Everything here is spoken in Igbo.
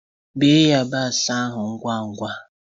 Bee yabasi ahụ ngwa ngwa!